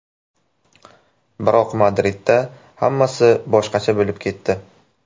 Biroq Madridda hammasi boshqacha bo‘lib ketdi.